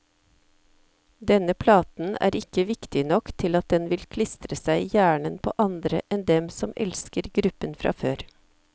Denne platen er ikke viktig nok til at den vil klistre seg i hjernen på andre enn dem som elsker gruppen fra før.